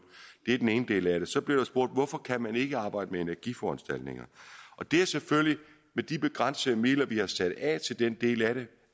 det er den ene del af det så blev der spurgt hvorfor kan man ikke arbejde med energiforanstaltninger med de begrænsede midler vi har sat af til den del af det